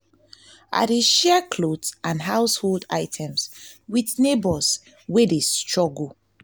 i dey share clothes and household items with neighbors wey dey neighbors wey dey struggle.